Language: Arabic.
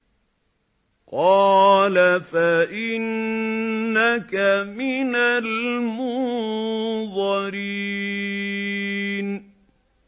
قَالَ فَإِنَّكَ مِنَ الْمُنظَرِينَ